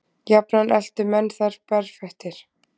Jafnan eltu menn þær berfættir.